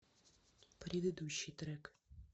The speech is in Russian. предыдущий трек